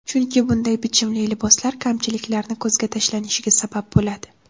Chunki bunday bichimli liboslar kamchiliklarni ko‘zga tashlanishiga sabab bo‘ladi.